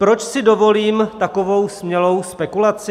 Proč si dovolím takovou smělou spekulaci?